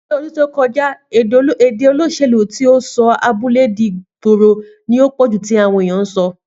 Ni ọdún tí o kọjá èdè olóṣèlú ti ọ li ìgboro kan nipé sọ ìgbé fí ìgboro